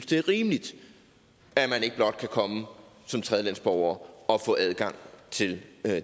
det er rimeligt at man ikke blot kan komme som tredjelandsborger og få adgang til